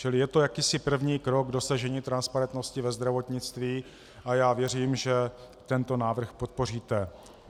Čili je to jakýsi první krok k dosažení transparentnosti ve zdravotnictví a já věřím, že tento návrh podpoříte.